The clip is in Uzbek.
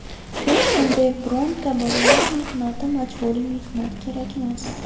Hech qanday, bironta bolalar mehnati, majburiy mehnat kerak emas.